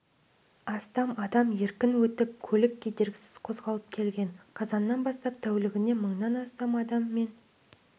астам адам еркін өтіп көлік кедергісіз қозғалып келген қазаннан бастап тәулігіне мыңнан астам адам мен